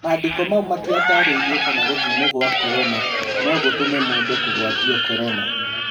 Mandĩko mau matiatarĩirie kana gũthimwo gwa Korona nogũtũme mũndũ kũgwatio Korona.